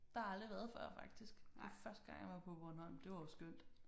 Der har jeg aldrig været før faktisk det var første gang jeg var på Bornholm det var jo skønt